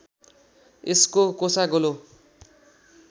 यसको कोसा गोलो